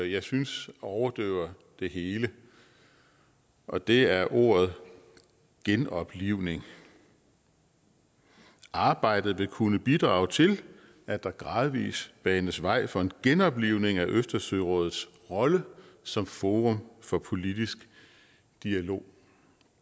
jeg synes overdøver det hele og det er ordet genoplivning arbejdet vil kunne bidrage til at der gradvis banes vej for en genoplivning af østersørådets rolle som forum for politisk dialog